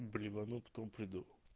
блевану потом приду